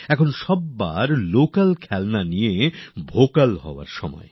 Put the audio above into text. এখন আমাদের সবার লোকাল খেলনার জন্য ভোকাল হওয়ার সময়